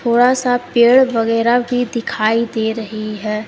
थोड़ा सा पेड़ वगैरह भी दिखाई दे रही है।